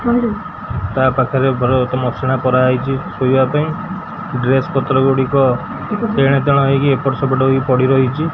ତା ପାଖରେ ବ୍ରସ୍ ମସିଣା ପରା ହେଇଛି ଶୋଇବା ପାଇଁ ଡ୍ରେସ୍-ପତ୍ର ଗୁଡ଼ିକ ଏଣେ ତେଣେ ହେଇକି ଏପଟ ସେପଟ ହୋଇ ପଡ଼ି ରହିଛି।